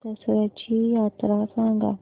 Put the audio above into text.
दसर्याची यात्रा सांगा